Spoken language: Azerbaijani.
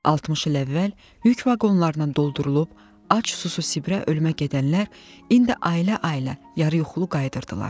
60 il əvvəl yük vaqonlarından doldurulub, ac-susuz Sibirə ölmə gedənlər indi ailə-ailə yarıyuxulu qayıdırdılar.